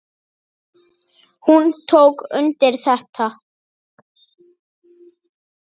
Hún tók undir þetta.